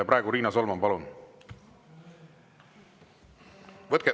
Riina Solman, palun!